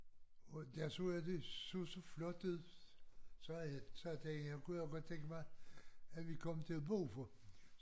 Og der så jeg det så så flot ud så havde jeg tænkt jeg kunne jo godt tænke mig at vi kom til at bo